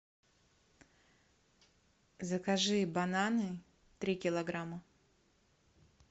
закажи бананы три килограмма